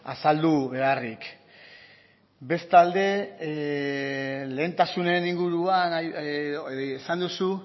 azaldu beharrik bestalde lehentasunen inguruan esan duzu